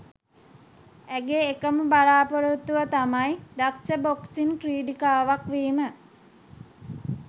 ඇගේ එකම බලාපොරොත්තුව තමයි දක්ෂ බොක්සිං ක්‍රිඩිකාවක් වීම.